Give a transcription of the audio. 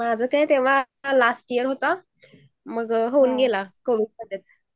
माझं काय तेव्हा लास्ट ईयर होतं. मग होऊन गेला कोरोना त्यात